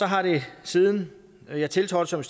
har det siden jeg tiltrådte som